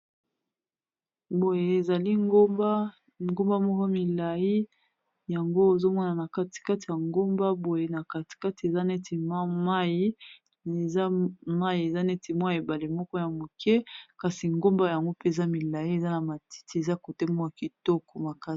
Mboka kitoko ezali nde na ba ngomba na kati kati ya ebale.